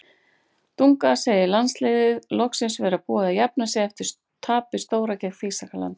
Dunga segir landsliðið loksins vera búið að jafna sig eftir tapið stóra gegn Þýskalandi.